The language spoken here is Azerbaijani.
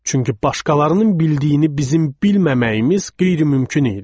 Çünki başqalarının bildiyini bizim bilməməyimiz qeyri-mümkün idi.